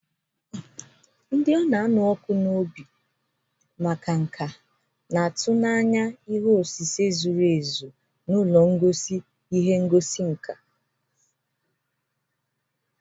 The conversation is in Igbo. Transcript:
Ndị na-anụ ọkụ n'obi na-atụ n'anya na ihe osise zuru ezu na ụlọ ngosi ihe ngosi nka.